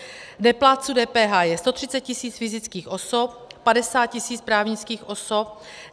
Neplátců DPH je 130 tisíc fyzických osob, 50 tisíc právnických osob.